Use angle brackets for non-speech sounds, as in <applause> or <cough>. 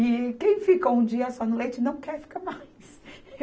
E quem ficou um dia só no leite não quer ficar mais. <laughs>